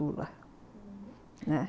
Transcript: né.